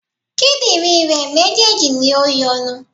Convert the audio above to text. Kídìnrín rè méjèèjì ni o yọnu